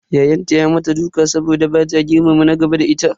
Ya'yanta ya mata duka saboda bata girmama na gaba da ita.